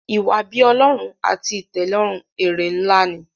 iwa-bi-Ọlọrun àti itẹlọrun èrè nlá ní.